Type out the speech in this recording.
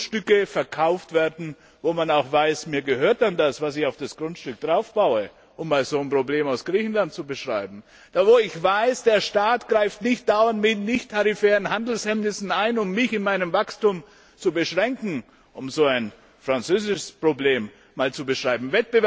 Grundstücke verkauft werden, wo man auch weiß, mir gehört dann das, was ich auf das Grundstück baue um einmal ein Problem aus Griechenland zu beschreiben und wo ich weiß, der Staat greift nicht dauernd mit nichttarifären Handelshemmnissen ein, um mich in meinem Wachstum zu beschränken um so ein französisches Problem zu beschreiben.